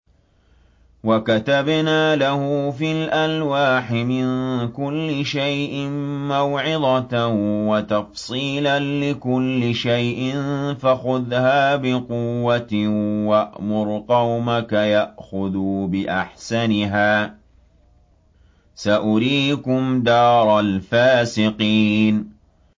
وَكَتَبْنَا لَهُ فِي الْأَلْوَاحِ مِن كُلِّ شَيْءٍ مَّوْعِظَةً وَتَفْصِيلًا لِّكُلِّ شَيْءٍ فَخُذْهَا بِقُوَّةٍ وَأْمُرْ قَوْمَكَ يَأْخُذُوا بِأَحْسَنِهَا ۚ سَأُرِيكُمْ دَارَ الْفَاسِقِينَ